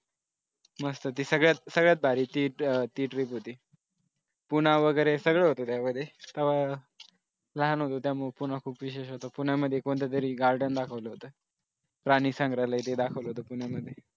मस्त ती सगळ्यात सगळ्यात भारी ती trip होती पुणा वगैरे सगळे होते त्यामध्ये तवा लहान होतो त्यामुळे पुन्हा खूप विशेषतः पुण्यामध्ये कोणत्या तरी garden दाखवल होत. प्राणी संग्रहालय हे दाखवल होतं पुण्यामध्ये